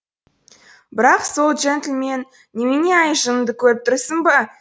бірақ сол джентльмен немене әй жыныңды көріп тұрсың ба